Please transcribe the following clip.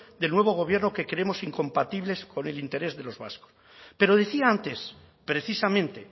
del nuevo gobierno que creemos incompatibles con el interés de los vascos pero decía antes precisamente